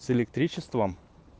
с электричеством